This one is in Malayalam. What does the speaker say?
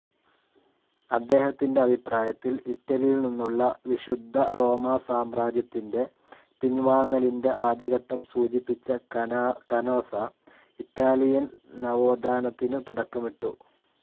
അദ്ദേഹത്തിൻ്റെ അഭിപ്രായത്തിൽ ഇറ്റലിയിൽ നിന്നുള്ള വിശുദ്ധറോമാസാമ്രാജ്യത്തിൻ്റെ പിൻവാങ്ങലിൻ്റെ ആദ്യഘട്ടം സൂചിപ്പിച്ച കാനോസ, ഇറ്റാലിയൻ നവോധാനത്തിനു തുടക്കമിട്ടു.